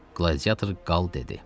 Qladiyator qal dedi.